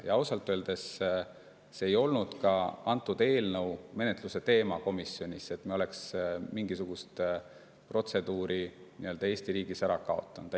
Ja ausalt öeldes see ei olnud eelnõu menetluse ajal komisjonis teemaks, et mingisugune protseduur Eesti riigis ära kaotada.